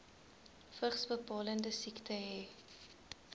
vigsbepalende siekte hê